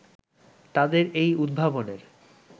তাদের এই উদ্ভাবনের